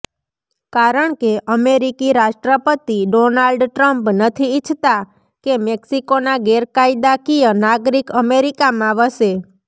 કારણકે અમેરિકી રાષ્ટ્રપતિ ડોનાલ્ડ ટ્રમ્પ નથી ઇચ્છતા કે મેક્સિકોના ગેરકાયદાકીય નાગરિક અમેરિકમાં વસે